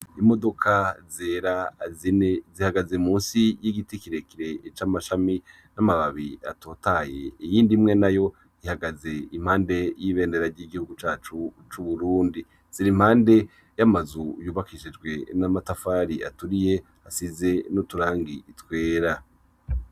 Imodoka zera azine zihagaze musi y'igiti kirekire c'amashami n'amababi atotaye iyi ndimwe na yo ihagaze impande y'ibendera ry'igihugu cacu c'uburundi zira impande y'amazu yubakishijwe n'amatafari aturiye asize n'uturangi itwera.